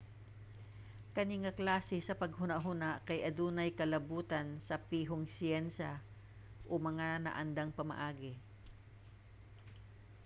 kani nga klase sa paghuna-huna kay adunay kalabotan sa pihong siyensya o mga naandang pamaagi